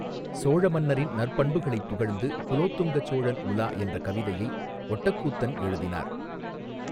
சோழ மன்னரின் நற்பண்புகளைப் புகழ்ந்து குலோத்துங்கச் சோழன் உலா என்ற கவிதையை ஒட்டக்கூத்தன் எழுதினார்.